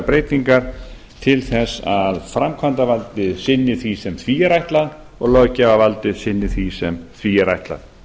breytingar til að framkvæmdavaldið sinni því sem því er ætlað og löggjafarvaldið sinni því sem því er ætlað